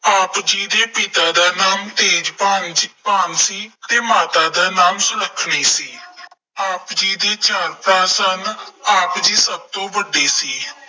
ਆਪ ਜੀ ਦੇ ਪਿਤਾ ਦਾ ਨਾਮ ਤੇਜਭਾਨ ਸੀ ਅਤੇ ਮਾਤਾ ਦਾ ਨਾਮ ਸੁਲੱਖਣੀ ਸੀ। ਆਪ ਜੀ ਦੇ ਚਾਰ ਭਰਾ ਸਨ। ਆਪ ਜੀ ਸਭ ਤੋਂ ਵੱਡੇ ਸੀ।